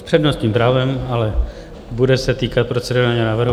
S přednostním právem, ale bude se týkat procedurálního návrhu.